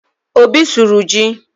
Obi sụrụ ji